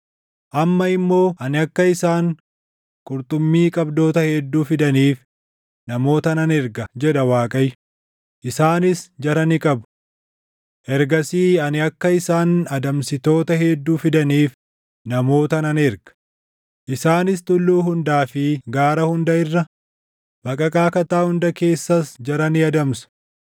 “Amma immoo ani akka isaan qurxummii qabdoota hedduu fidaniif namoota nan erga” jedha Waaqayyo; “isaanis jara ni qabu. Ergasii ani akka isaan adamsitoota hedduu fidaniif namoota nan erga; isaanis tulluu hundaa fi gaara hunda irra, baqaqaa kattaa hunda keessas jara ni adamsu.